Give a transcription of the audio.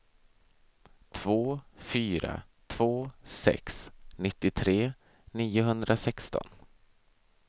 två fyra två sex nittiotre niohundrasexton